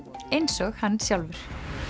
eins og hann sjálfur